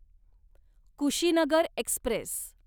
Kushinagar Express